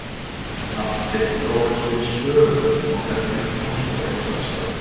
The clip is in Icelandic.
Allt gekk þó eins og í sögu og efnið komst á réttan stað.